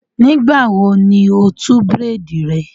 Nígbà wo ni o tú bírèèdì rẹ?